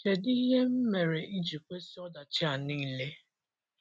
Kedụ ihe m mere iji kwesị ọdachi a niile?